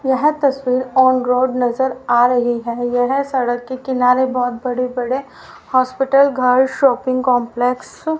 यह तस्वीर on road नजर आ रही है यह सड़क के किनारे बहोत बड़े बड़े हॉस्पिटल घर शॉपिंग कंपलेक्स --